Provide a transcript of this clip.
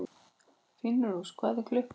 Finnrós, hvað er klukkan?